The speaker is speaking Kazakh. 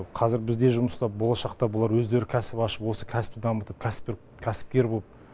қазір бізде жұмыста болашақта бұлар өздері кәсіп ашып осы кәсіпті дамытып кәсіпті кәсіпкер болып